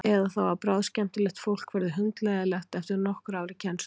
Eða þá að bráðskemmtilegt fólk verður hundleiðinlegt eftir nokkur ár í kennslu.